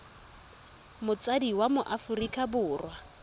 motsadi wa mo aforika borwa